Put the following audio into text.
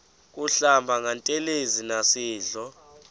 kuhlamba ngantelezi nasidlo